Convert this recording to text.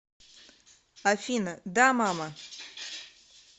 афина да мама